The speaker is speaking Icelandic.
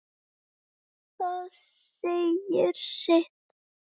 Það segir sitt.